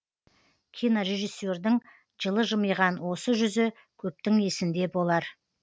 кинорежиссердің жылы жымиған осы жүзі көптің есінде болар